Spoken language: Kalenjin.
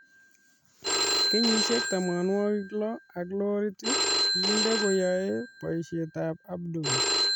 Kenyisiek tamanwogik lo ak lorit kindet koyoe boisietab Abdul